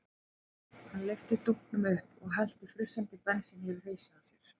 Hann lyfti dunknum upp og hellti frussandi bensíni yfir hausinn á sér.